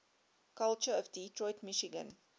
culture of detroit michigan